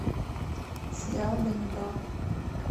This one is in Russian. сериал ганнибал